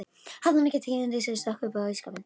Hafði hún ekki tekið undir sig stökk upp á ísskápinn!